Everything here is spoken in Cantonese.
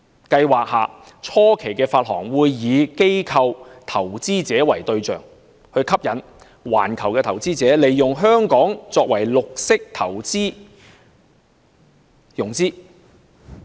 計劃下初期的發行會以機構投資者為對象，以吸引環球投資者利用香港作為綠色投融資的中心。